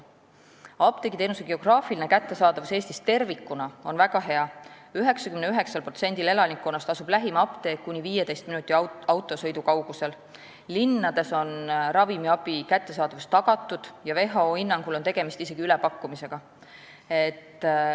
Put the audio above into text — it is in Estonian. Apteegiteenuse geograafiline kättesaadavus Eestis tervikuna on väga hea, 99%-l elanikkonnast asub lähim apteek kuni 15 minuti autosõidu kaugusel, linnades on ravimiabi kättesaadavus tagatud ja WHO hinnangul on tegemist isegi ülepakkumisega.